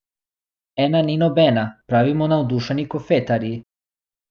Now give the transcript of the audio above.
Ena ni nobena, pravimo navdušeni kofetarji.